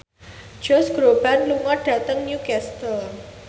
Josh Groban lunga dhateng Newcastle